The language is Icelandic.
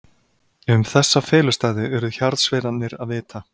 Um þessa felustaði urðu hjarðsveinarnir að vita.